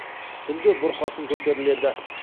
түнде бұрқасын көтеріледі